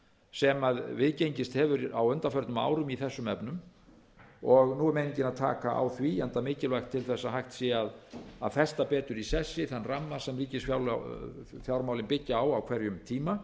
sem viðgengist hefur á undanförnum árum í þessum efnum og nú er meiningin að taka á því enda mikilvægt til að hægt sé að festa betur í sessi þann ramma sem ríkisfjármálin byggja á á hverjum tíma